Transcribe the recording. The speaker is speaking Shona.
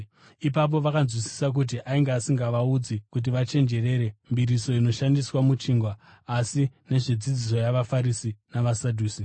Ipapo vakanzwisisa kuti ainge asingavaudzi kuti vachenjerere mbiriso inoshandiswa muchingwa, asi nezvedzidziso yavaFarisi navaSadhusi.